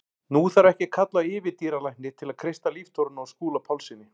Nú þarf ekki að kalla á yfirdýralækni til að kreista líftóruna úr Skúla Pálssyni.